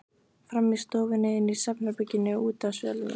Frammi í stofunni, inni í svefnherberginu og úti á svölunum.